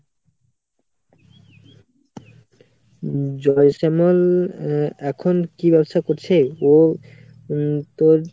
উম জয় শ্যামল এখন কি ব্যবসা করছে? ও উম তোর;